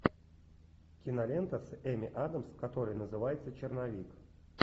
кинолента с эмми адамс которая называется черновик